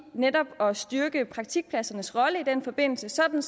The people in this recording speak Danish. netop at styrke praktikpladsernes rolle i den forbindelse sådan